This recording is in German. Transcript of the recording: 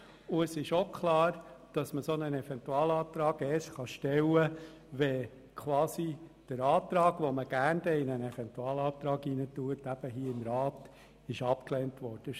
Es ist auch klar, dass man einen solchen Eventualantrag erst stellen kann, wenn quasi der Antrag abgelehnt worden ist.